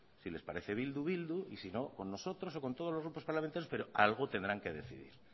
si les parece bildu bildu y sino con nosotros o con todos los grupos parlamentarios pero algo tendrán que decidir